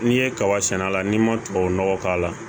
N'i ye kaba sɛnɛ a la n'i ma tubabunɔgɔ k'a la